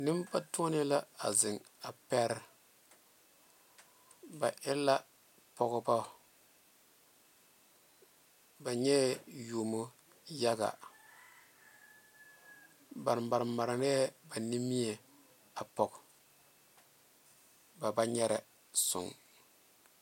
Nenbatuone la zeŋ pɛre ba e la pɔgeba ba nyɛ la yuomo yaga ba maremare a nimie poɔ baba nyɛre soŋe.